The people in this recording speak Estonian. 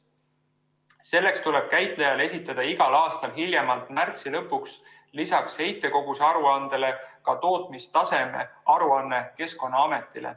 Selleks tuleb käitajal esitada igal aastal hiljemalt märtsi lõpuks lisaks heitkoguse aruandele ka tootmistaseme aruanne Keskkonnaametile.